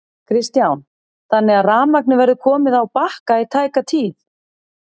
Kristján: Þannig að rafmagnið verður komið á Bakka í tæka tíð?